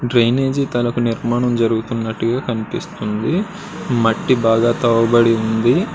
Drainage తాలూకా నిర్మాణం జరుగుతున్నట్టుగా కనిపిస్తుంది. మట్టి బాగా తవ్వబడి ఉంది.